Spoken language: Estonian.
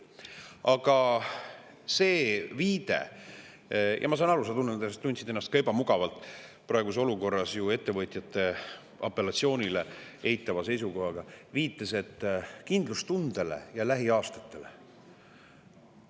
Aga see viide – ja ma saan aru, sa tundsid ennast praeguses olukorras ka ebamugavalt ettevõtjate apellatsiooni, eitava seisukoha tõttu – kindlustundele ja lähiaastatele.